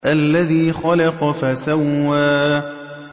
الَّذِي خَلَقَ فَسَوَّىٰ